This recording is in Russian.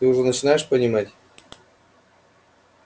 ты уже начинаешь понимать